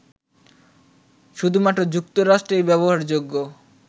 শুধুমাত্র যুক্তরাষ্ট্রেই ব্যবহারযোগ্য